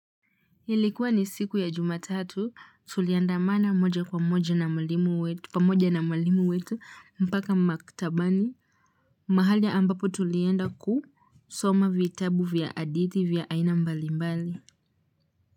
Ilikuwa ni siku ya jumatatu tuliandamana moja kwa moja pamoja na mwalimu wetu mpaka maktabani mahali ambapo tulienda kusoma vitabu vya aditi vya aina mbali mbali.